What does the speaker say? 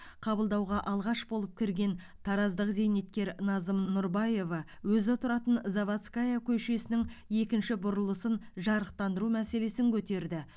қабылдауға алғаш болып кірген тараздық зейнеткер назым нұрбаева өзі тұратын заводская көшесінің екінші бұрылысын жарықтандыру мәселесін көтерді